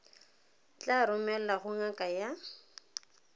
tla romelwa go ngaka ya